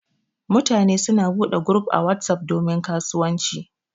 Mutane suna bude guruf a WhatsApp domin kasuwanci.